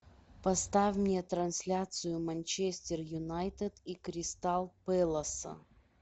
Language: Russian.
поставь мне трансляцию манчестер юнайтед и кристал пэласа